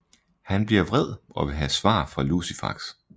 Han bliver vred og vil have svar fra Lucifax